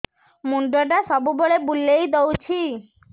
ମୁଣ୍ଡଟା ସବୁବେଳେ ବୁଲେଇ ଦଉଛି